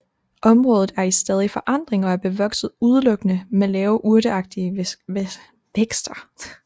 Området er i stadig forandring og er bevokset udelukkende med lave urteagtige vækster